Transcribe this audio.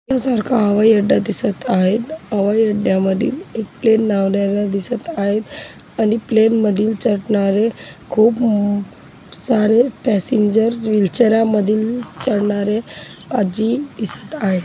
या सारखा हवाई अड्डा दिसत आहे हवाई अड्ड्यामधील एक प्लेन लावलेला दिसत आहेत आणि प्लेन मधील चडनारे खूप सारे पॅसेंजर व्हील चेअरा मधील चडणारे आज्जी दिसत आहे.